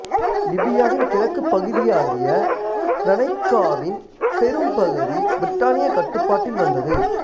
லிபியாவின் கிழக்குப் பகுதியாகிய சிரெனைக்காவின் பெரும்பகுதி பிரிட்டானிய கட்டுப்பாட்டில் வந்தது